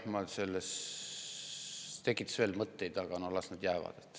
See tekitas veel mõtteid, aga noh, las see jääb.